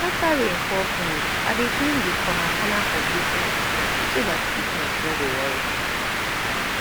after rain fall finish i dey clean de corner corner of wetin i plant so dat sickness no go worry am